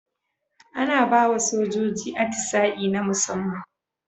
Ana bawa sojoji atisa'i na musaman